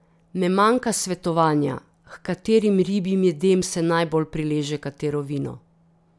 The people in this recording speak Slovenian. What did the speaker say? Ne manjka svetovanja, h katerim ribjim jedem se najbolj prileže katero vino.